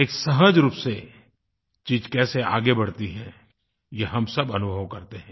एक सहज़ रूप से चीज़ कैसे आगे बढ़ती है ये हम सब अनुभव करते हैं